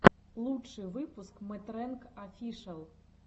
лучший выпуск мэтрэнг офишэл